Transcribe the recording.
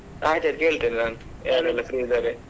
ಅಯ್ತಾಯ್ತು ಕೇಳ್ತೆನೆ ನಾನು free ಇದ್ದಾರೆ.